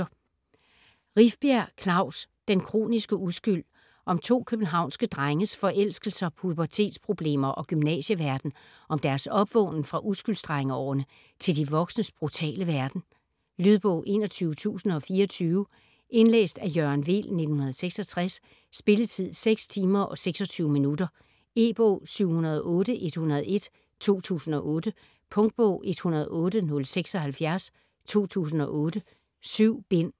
Rifbjerg, Klaus: Den kroniske uskyld Om to københavnske drenges forelskelser, pubertetsproblemer og gymnasieverden, om deres opvågnen fra uskylds-drengeårene til de voksnes brutale verden. Lydbog 21024 Indlæst af Jørgen Weel, 1966. Spilletid: 6 timer, 26 minutter. E-bog 708101 2008. Punktbog 108076 2008. 7 bind.